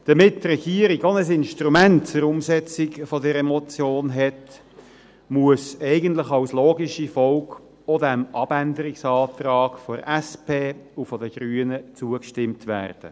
Damit die Regierung auch ein Instrument zur Umsetzung dieser Motion hat, muss eigentlich, als logische Folge, auch diesem Abänderungsantrag der SP und der Grünen zugestimmt werden.